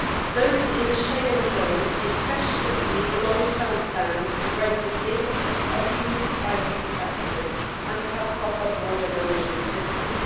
Those in the Schengen zone especially need long term plans to break the link abused by people traffickers and to have proper border management systems.